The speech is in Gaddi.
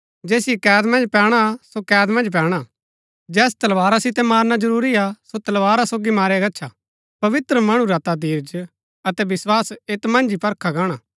जैसिओ कैद मन्ज पैणा हा सो कैदा मन्ज पैणा जैस तलवारा सितै मारणा जरूरी हा सो तलवारा सोगी मारया गच्छा पवित्र मणु रा धीरज अतै विस्वास ऐत मन्ज ही परखा गाणा